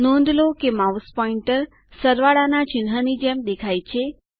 નોંધ કરો કે માઉસ પોઈન્ટરનિર્દેશક પ્લસવત્તા ચિન્હની જેમ દેખાય છે